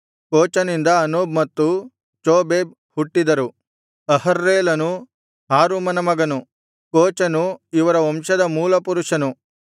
ಕೋಚನಿಂದ ಅನೂಬ್‌ ಮತ್ತು ಚೊಬೇಬ್ ಹುಟ್ಟಿದರು ಅಹರ‍್ಹೇಲನು ಹಾರುಮನ ಮಗನು ಕೋಚನು ಇವರ ವಂಶದ ಮೂಲ ಪುರುಷ